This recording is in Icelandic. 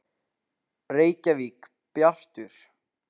Reykjavík: Bjartur.